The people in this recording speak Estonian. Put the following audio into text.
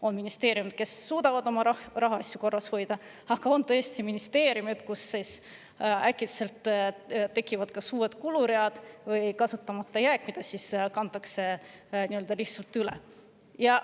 On ministeeriumeid, kes suudavad oma rahaasju korras hoida, aga on ka selliseid, kus äkitselt tekivad kas uued kuluread või kasutamata jääk, mis siis lihtsalt üle kantakse.